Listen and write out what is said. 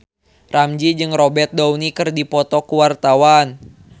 Ramzy jeung Robert Downey keur dipoto ku wartawan